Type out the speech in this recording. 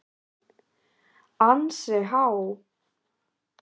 ansi há.